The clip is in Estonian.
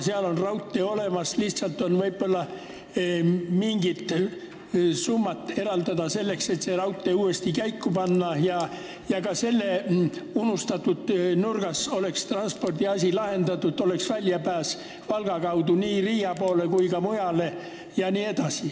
Seal on raudtee olemas, lihtsalt oleks võib-olla vaja mingid summad eraldada, et saaks selle raudtee uuesti käiku panna ja ka selles unustatud nurgas oleks transpordiasi lahendatud, oleks väljapääs Valga kaudu nii Riia poole kui ka mujale.